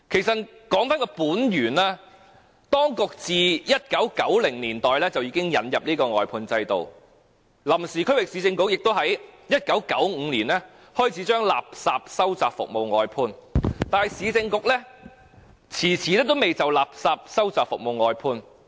追本溯源，當局自1990年代引入外判制度，前臨時區域市政局亦在1995年開始把垃圾收集服務外判，但前市政局卻遲遲未就垃圾收集服務外判。